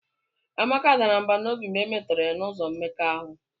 Amaka dara mbà n'obi mgbe e metọrọ ya n'ụzọ mmekọahụ